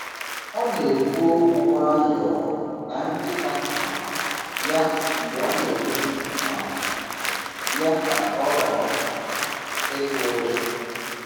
Ọ na-ekwu okwu nwayọọ na nkịta um ya mgbe a na-edozi um ya ka ọ ghara um ịtụ ụjọ.